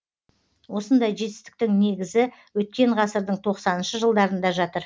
осындай жетістіктің негізі өткен ғасырдың тоқсаныншы жылдарында жатыр